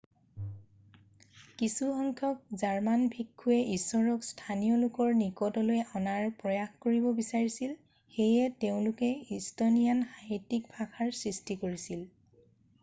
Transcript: কিছুসংখ্যক জাৰ্মান ভিক্ষুৱে ইশ্বৰক স্থানীয় লোকৰ নিকটলৈ অনাৰ প্ৰয়াস কৰিব বিচাৰিছিল সেয়ে তেওঁলোকে ইষ্টনিয়ান সাহিত্যিক ভাষাৰ সৃষ্টি কৰিছিল